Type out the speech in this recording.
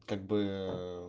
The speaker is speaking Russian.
как бы